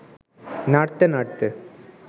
নাড়তে নাড়তে